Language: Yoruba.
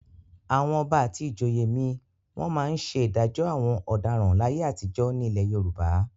Àwọn Ọba àti ìjòyè mi wọ́n máa ń ṣe ìdájọ́ àwọn ọ̀daràn láyé àtijọ́ nílẹ̀ Yorùbá.